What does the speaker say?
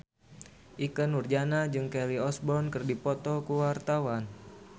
Ikke Nurjanah jeung Kelly Osbourne keur dipoto ku wartawan